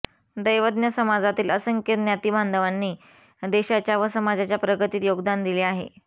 दैवज्ञ समाजातील असंख्य ज्ञातीबांधवांनी देशाच्या व समाजाच्या प्रगतीत योगदान दिले आहे